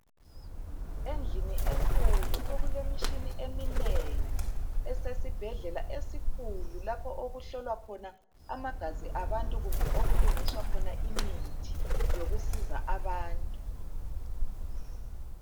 Endlini enkulu okulemishini eminengi, esesibhedlela esikhulu lapho okuhlolwa khona amagazi abantu kumbe okulungiswa khona imithi yokusiza abantu.